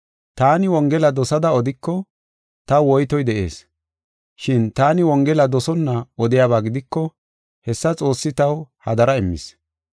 Taani wongela dosada odiko, taw woytoy de7ees. Shin taani wongela dosonna odiyaba gidiko, hessa Xoossi taw hadara immis.